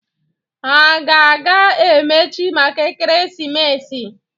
Ha a ga-emechi maka ekeresimesi?